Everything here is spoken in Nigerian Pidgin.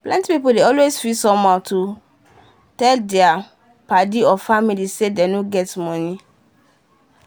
plenty pipu dey always feel somehow to tell dia paddy or family say dem no get money.